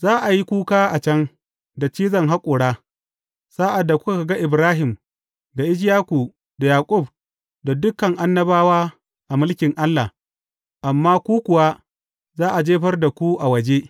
Za a yi kuka a can, da cizon haƙora, sa’ad da kuka ga Ibrahim, da Ishaku, da Yaƙub, da dukan annabawa a mulkin Allah, amma ku kuwa, za a jefar da ku a waje.